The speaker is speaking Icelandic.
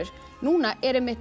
núna er